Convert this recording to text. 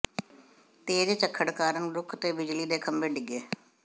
ਤੇਜ਼ ਝੱਖੜ ਕਾਰਨ ਰੁੱਖ ਤੇ ਬਿਜਲੀ ਦੇ ਖੰਭੇ ਡਿੱਗੇ